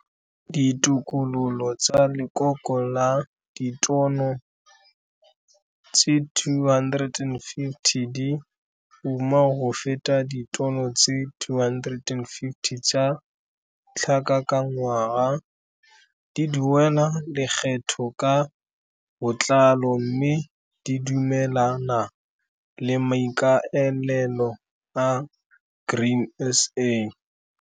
Ditokololo tsa Lekoko la Ditono tse 250 di uma go feta ditono tse 250 tsa tlhaka ka ngwaga, di duela lekgetho ka botlalo mme di dumelana le maikaelelo a Grain SA.